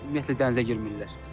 Ümumiyyətlə dənizə girmirlər.